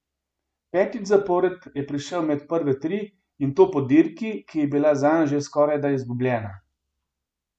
Petič zapored je prišel med prve tri, in to po dirki, ki je bila zanj že skorajda izgubljena.